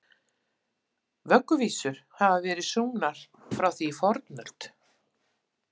Vögguvísur hafa verið sungnar frá því í fornöld.